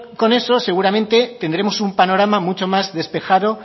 con eso seguramente tendremos un panorama mucho más despejado